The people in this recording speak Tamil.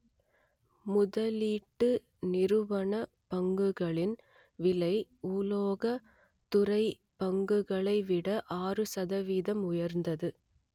முதலீட்டு நிறுவனப் பங்குகளின் விலை உலோக துறை பங்குகளை விட ஆறு சதவீதம் உயர்ந்தது